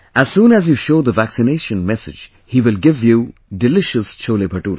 As soon as you show the vaccination message he will give you delicious CholeBhature